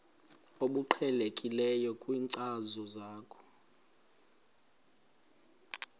obuqhelekileyo kwinkcazo yakho